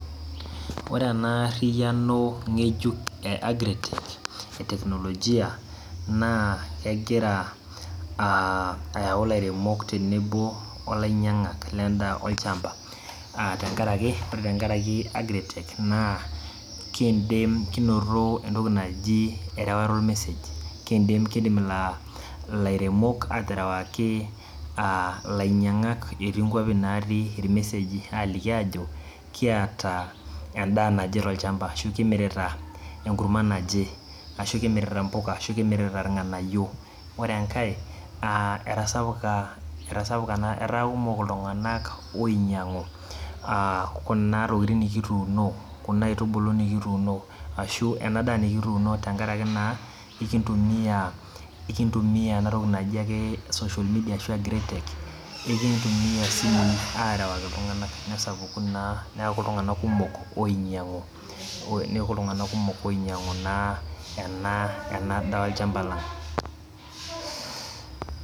Ore enaariyano ngejuk e agriculture eteknolojia na egira a ayau lairemok tenebo olainyangak lendaa ,tenkaraki ore tenkaraki agritec nidim kinoto entoki naji erewata ormessage kindim ilairemok aterewaki a lainyangak etii nkwapi natii irmeeseji aliki ajo ikiata endaa naje tolchamba ashu kimirita enkurma naje ashu kumirita mpuka, kikirita irnganayio ore enkae etasapuk na etaakumok ltunganak oinyangu kuna tokitin nikituuno kuna aitubulu nikituuno ashu enadaa nikituuno tenkaraki na enintumia enatoki naji social media arashu agritec nikidim aterewaki ltunganak neaku ltunganak kumok oinyangu neaku ltunganak kumok oinyangu ena daa olchamba lang.